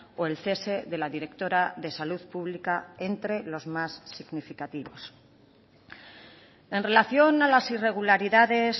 o el cese de la directora de salud pública entre los más significativos en relación a las irregularidades